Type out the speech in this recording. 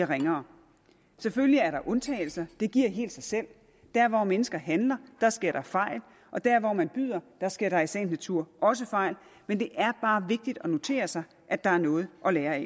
ringere selvfølgelig er der undtagelser det giver sig selv der hvor mennesker handler sker der fejl og der hvor man byder sker der i sagens natur også fejl men det er bare vigtigt at notere sig at der er noget at lære af